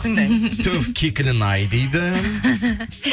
түф кекілін ай дейді